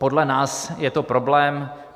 Podle nás je to problém.